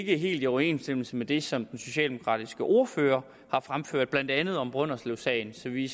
ikke helt i overensstemmelse med det som den socialdemokratiske ordfører har fremført blandt andet om brønderslevsagen så vi